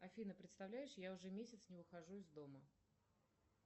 афина представляешь я уже месяц не выхожу из дома